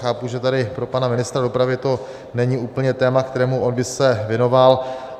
Chápu, že tady pro pana ministra dopravy to není úplně téma, kterému on by se věnoval.